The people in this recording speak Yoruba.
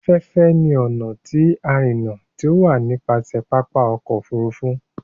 Aféfé ní ọna ti irinna ti o wa nipasẹ papa ọkọ ofurufu.